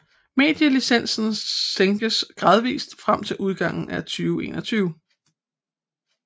Medielicensen sænkes gradvist frem til udgangen af 2021